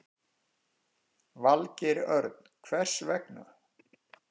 Valgeir Örn: Hvers vegna?